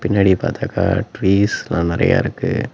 பின்னடி பாத்தாக்கா ட்ரீஸ்லா நெறையா இருக்கு.